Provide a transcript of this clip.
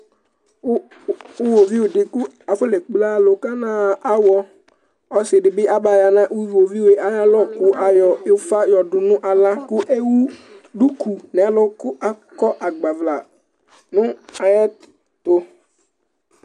Uwoviu di kʋ akɔne kple akʋ kanxa awɔ, ɔsidibi aba yanʋ ʋwoviu yɛ ayʋ alɔkʋ kʋ ayɔ ufa yɔdʋnʋ aɣla kʋ ewʋ duku nʋ ɛlʋ Kʋ akɔ agbvla nʋ ayʋ ɛtʋ